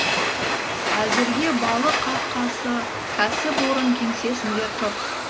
әзірге балық қаңқасы кәсіпорын кеңсесінде тұр